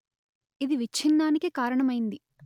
ఇది విచ్ఛిన్నానికి కారణమైంది